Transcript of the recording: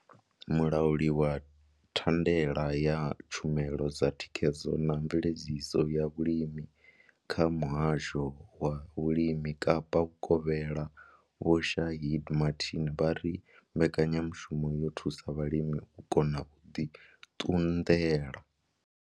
Mulauli wa thandela ya tshumelo dza thikhedzo na mveledziso ya vhulimi kha muhasho wa vhulimi Kapa Vhukovhela Vho Shaheed Martin vha ri mbekanyamushumo yo thusa vhalimi u kona u ḓi ṱunḓela.